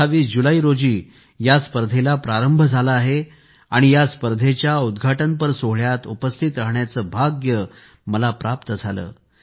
28 जुलै रोजी या स्पर्धेला प्रारंभ झाला आहे आणि या स्पर्धेच्या उद्घाटनपर सोहोळ्यात उपस्थित राहण्याचे भाग्य मला प्राप्त झाले